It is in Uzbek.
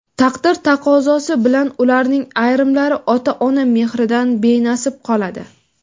taqdir taqozosi bilan ularning ayrimlari ota-ona mehridan benasib qoladi.